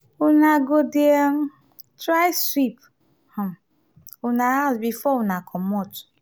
una go dey um try sweep um una house before una comot.